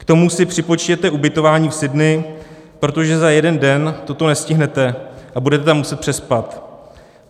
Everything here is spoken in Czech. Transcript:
K tomu si připočtěte ubytování v Sydney, protože za jeden den toto nestihnete a budete tam muset přespat.